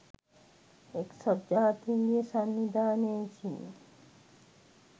එක්සත් ජාතීන්ගේ සංවිධානය විසින්